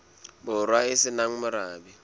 borwa e se nang morabe